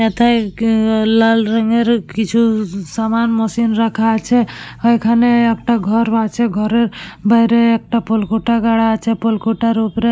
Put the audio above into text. এতে কি আ লাল রঙের কিছু-উ-উ সামান মেশিন রাখা আছে এখানে-এ একটা ঘর আছে ঘরের বাইরে একটা পুলকটা গাড়া আছে পুলকটার ওপরে --